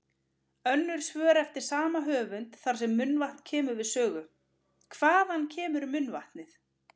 Önnur svör eftir sama höfund þar sem munnvatn kemur við sögu: Hvaðan kemur munnvatnið?